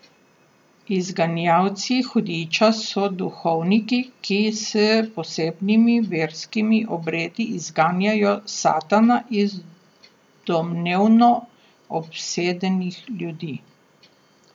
Izganjalci hudiča so duhovniki, ki s posebnimi verskimi obredi izganjajo satana iz domnevno obsedenih ljudi.